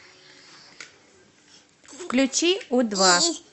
включи у два